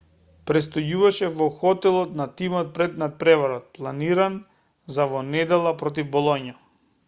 престојуваше во хотелот на тимот пред натпреварот планиран за во недела против болоња